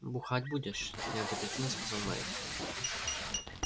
бухать будешь неодобрительно сказал найд